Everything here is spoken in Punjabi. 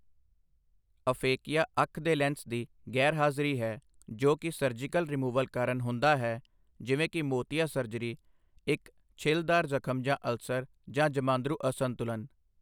ਅਫੇਕੀਆ ਅੱਖ ਦੇ ਲੈਂਜ਼ ਦੀ ਗੈਰਹਾਜ਼ਰੀ ਹੈ, ਜੋ ਕਿ ਸਰਜੀਕਲ ਰਿਮੂਵਲ ਕਾਰਨ ਹੁੰਦਾ ਹੈ ਜਿਵੇਂ ਕਿ ਮੋਤੀਆ ਸਰਜਰੀ, ਇੱਕ ਛਿੱਲਦਾਰ ਜ਼ਖ਼ਮ ਜਾਂ ਅਲਸਰ, ਜਾਂ ਜਮਾਂਦਰੂ ਅਸੰਤੁਲਨ।